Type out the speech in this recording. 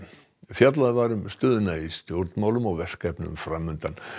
fjallað var um stöðuna í stjórnmálum og verkefnin fram undan